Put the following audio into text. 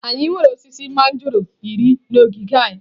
Anyị nwere osisi mangọrọ iri na ogige anyi.